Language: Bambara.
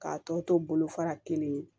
K'a tɔ to bolo fara kelen ye